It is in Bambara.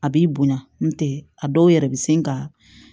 A b'i bonya n'o tɛ a dɔw yɛrɛ bɛ se ka